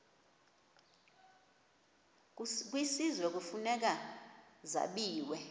kwisizwe kufuneka zabiwe